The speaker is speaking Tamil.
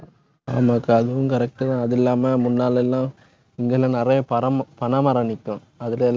ஆமாக்கா, அதுவும் correct தான். அது இல்லாம முன்னால எல்லாம் இங்கெல்லாம் நிறைய பறை பனைமரம் நிக்கும். அதுல எல்லாம்